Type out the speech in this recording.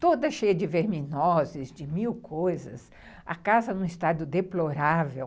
toda cheia de verminoses, de mil coisas, a casa num estado deplorável.